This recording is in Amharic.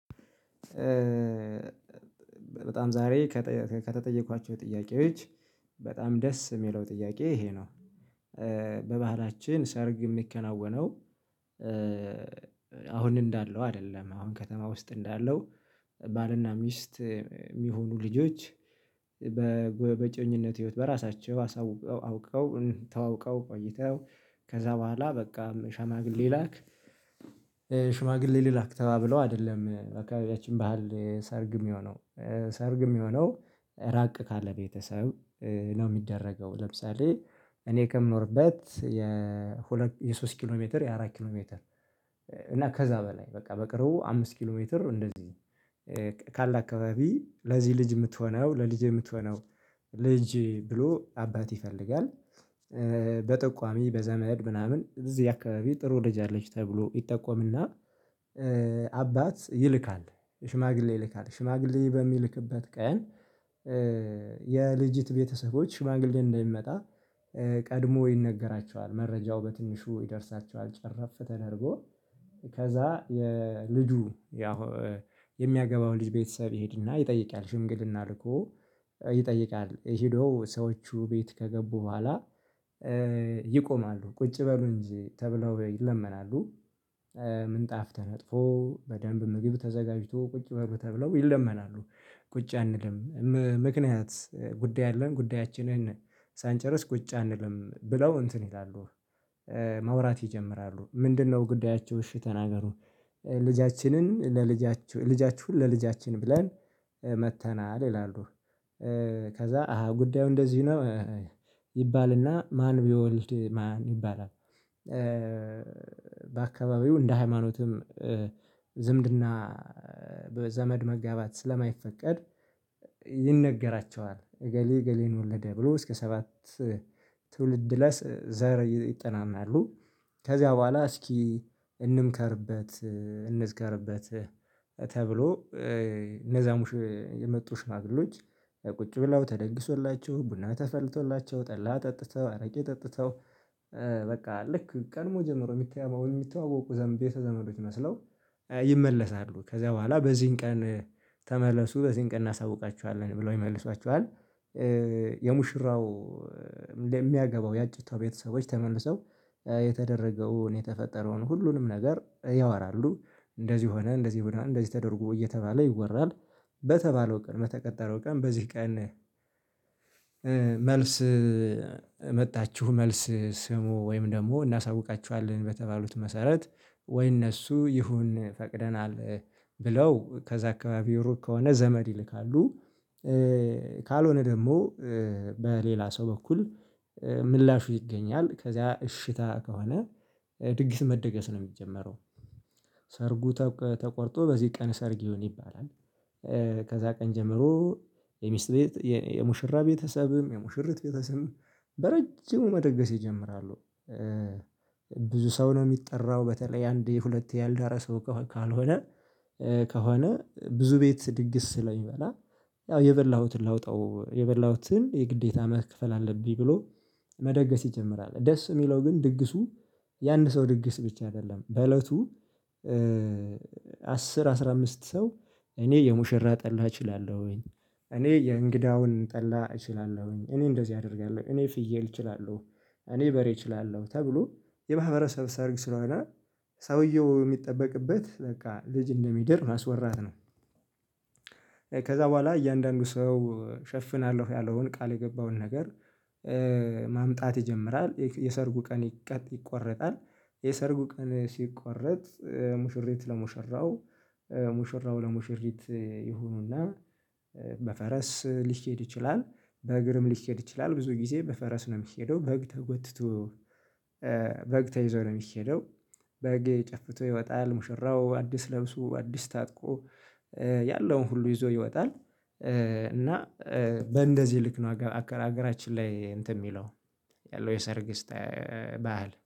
በጣም ዛሬ ከጠየ ከተጠየኳቸው ጥያቄዎች በጣም ደስ የሚለው ጥያቄ ይሄ ነው። በባህላችን ሰርግ የሚከናወነው። አሁን እንዳለው አይደለም አሁን ከተማ ውስጥ እንዳለው። ባል እና ሚስት የሚሆኑ ልጆች። በእጮኝነት ህይወት በራሳቸው አሳውቀው አውቀው ተዋውቀው ቆይተው። ከዛ በኋላ በቃ ሽማግሌ ላክ። ሽማግሌ ልላክ ተባብለው አይደለም በአካባቢያችን ባህል ሰርግ የሚሆነው። ሰርግ የሚሆነው ራቅ ካለ ቤተሰብ ነው የሚደረገው። ለምሳሌ እኔ ከምኖርበት የሁለት የሶስት ኪሎ ሜትር የአራት ኪሎ ሜትር። እና ከዛ በላይ በቃ በቅርቡ አምስት ኪሎ ሜትር እንደዚህ። ካለ አካባቢ ለዚህ ልጅ የምትሆነው ለልጄ የምትሆነው ልጅ ብሎ አባት ይፈልጋል። በጠቋሚ በዘመድ ምናምን እዚህ አካባቢ ጥሩ ልጅ አለች ተብሎ ይጠቆም እና። አባት ይልካል ሽማግሌ ይልካል ሽማግሌ በሚልክበት ቀን የልጅት ቤተሰቦች ሽማግሌ እንደሚመጣ። ቀድሞ ይነገራቸዋል መረጃው በትንሹ ይደርሳቸዋል ጨረፍ ተደርጎ። ከዛ የልጁ ያው የሚያገባው ልጅ ቤተሰብ ይሄድ እና ይጠይቃል ሽምግልና ልኮ። ይጠይቃል ሄዶ ሰዎቹ ቤት ከገቡ በኋላ። ይቆማሉ ቁጭ በሉ እንጂ ተብለው ይለመናሉ። ምንጣፍ ተነጥፎ በደንብ ምግብ ተዘጋጅቶ ቁጭ በሉ ተብለው ይለመናሉ። ቁጭ አንልም። ምክንያት ጉዳይ አለን ጉዳያችንን ሳንጨርስ ቁጭ አንልም ብለው እንትን ይላሉ። ማውራት ይጀምራሉ ምንድንነው ጉዳያችው እሺ ተናገሩ። ልጃችንን ለልጃችሁ ልጃችሁን ለልጃችን ብለን መጥተናል ይላሉ። ከዛ አሃ ጉዳዩ እንደዚሁ ነው። ይባል እና ማን ቢወልድ ማን ይባላል? በአካባቢው እንደ ሃይማኖትም ዝምድና በዘመድ መጋባት ስለማይፈቀድ። ይነገራቸዋል እገሌ እገሌን ወለደ ብሎ እስከ ሰባት ትውልድ ላይ ዘር ይጠናናሉ። ከዚያ በኋላ እስኪ እንምከርበት እንዝክርበት። ተብሎ እነዛ ሙሽ የመጡ ሽማግሌዎች። ቁጭ ብለው ተደግሶላቸው ቡና ተፈልቶላቸው ጠላ ጠጥተው አረቄ ጠጥተው። በቃ ልክ ቀድሞ ጀምሮ የሚተዎ የሚተዋወቁ ዘመድ ቤተዘመዶች መስለው። ይመለሳሉ ከዚያ በኋላ በዚህን ቀን ተመለሱ በዚህን ቀን እናሳውቃችኋለን ብለው ይመልሷቸዋል። የሙሽራው ለ የሚያግባው የአጭታው ቤተሰቦች ተመልሰው የተደረገውን የተፈጠረውን ሁሉንም ነገር ያወራሉ። እንደዚህ ሆነ እንደዚህ ሁኗል እንደዚህ ተደርጎ እየተባለ ይወራል። በተባለው ቀን በተቀጠረው ቀን በዚህ ቀን። መልስ መጣችሁ መልስ ስሙ ወይም ደግሞ እናሳውቃችኋለን በተባሉት መሰረት። ወይ እነሱ ይሁን ፈቅደናል። ብለው ከዛ አካባቢው ሩቅ ከሆነ ዘመድ ይልካሉ። ካልሆነ ደግሞ በሌላ ሰው በኩል። ምላሹ ይገኛል ከዚያ እሽታ ከሆነ ድግስ መደገስ ነው የሚጀመረው። ሰርጉ ተቀ ተቆርጦ በዚህ ቀን ሰርግ ይሁን ይባላል። ከዛ ቀን ጀምሮ። የሚስት ቤት የሙሽራ ቤተሰብም የሙሽሪት ቤተሰብም በረጅሙ መደገስ ይጀምራሉ። ብዙ ሰው ነው የሚጠራው በተለይ አንዴ ሁለቴ ያልዳረ ሰው ከሆ ካልሆነ። ከሆነ ብዙ ቤት ድግስ ስለሚበላ። ያው የበላሁትን ላውጣው የበላሁትን የግዴታ መክፈል አለብኝ ብሎ መደገስ ይጀምራል። ደስ የሚለው ግን ድግሱ ያንድ ሰው ድግስ ብቻ አይደለም በእለቱ። አስር አስራ አምስት ሰው። እኔ የሙሽራ ጠላ እችላለሁኝ። እኔ የእንግዳውን ጠላ እችላለሁኝ እኔ እንደዚህ አደርጋለሁ እኔ ፍየል እችላለሁ። እኔ በሬ እችላለሁ ተብሎ የማህበረሰብ ሰርግ ስለሆነ። ሰውየው የሚጠበቅበት በቃ ልጅ እንደሚደርም ማስወራት ነው። ከዛ በኋላ እያንዳንዱ ሰው ሸፍናለሁ ያለውን ቃል የገባውን ነገር። ማምጣት ይጀምራል የሰርጉ ቀን ይቀ ይቆረጣል። የሰርጉ ቀን ሲቆረጥ ሙሽሪት ለሙሽራው ሙሽራው ለሙሽሪት ይሁኑና። በፈረስ ሊሄድ ይችላል። በእግርም ሊሄድ ይችላል ብዙ ጊዜ በፈረስ ነው የሚሄደው በግ ተጎትቶ። በግ ተይዞ ነው የሚሄደው። በግ ጨፍቶ ይወጣል ሙሽራው አዲስ ለብሶ አዲስ ታጥቆ። ያለውን ሁሉ ይዞ ይወጣል። እና በእንደዚህ ልክ ነው አገ አከ አገራችን ላይ እንትን የሚለው። ያለው የሰርግ ስታይ ባህል